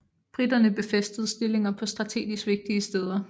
Briterne befæstede stillinger på strategisk vigtige steder